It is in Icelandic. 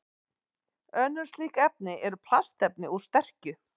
Önnur slík efni eru plastefni úr sterkju.